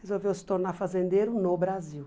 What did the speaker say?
Resolveu se tornar fazendeiro no Brasil.